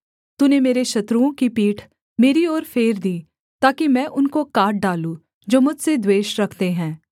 तूने मेरे शत्रुओं की पीठ मेरी ओर फेर दी ताकि मैं उनको काट डालूँ जो मुझसे द्वेष रखते हैं